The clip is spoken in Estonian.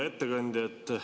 Hea ettekandja!